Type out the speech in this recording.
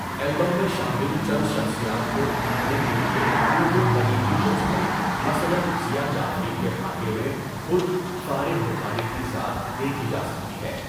Album میں شامل چند شخصیات کو ابھارنے کے ليے اُن کے قریبی دوستوں مثلاً ضیاء جعفری کے خاکے میں خود فارغ بخاری کی ذات دیکھی جا سکتی ہے۔